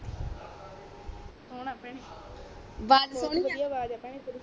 ਸੁਣਾ ਭੈਣੇ ਵਾਜ ਸਹੋਣੀ ਆ ਬਹੋਤ ਬਦਿਆ ਵਾਜ ਭੈਣੇ ਤੇਰੀ